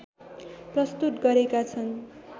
प्रस्तुत गरेका छन्।